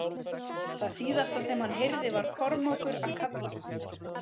Það síðasta sem hann heyrði var Kormákur að kalla á hann.